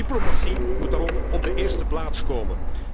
Neen, diplomatie moet daarom op de eerste plaats komen.